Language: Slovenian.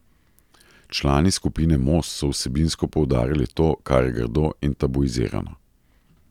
Člani skupine Most so vsebinsko poudarjali to, kar je grdo in tabuizirano.